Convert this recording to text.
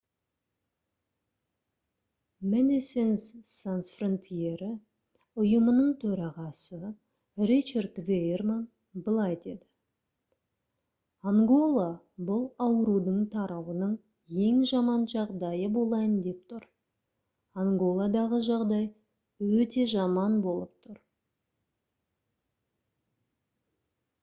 medecines sans frontiere ұйымының төрағасы ричард веерман былай деді: «ангола бұл аурудың тарауының ең жаман жағдайы болайын деп тұр анголадағы жағдай өте жаман болып тұр»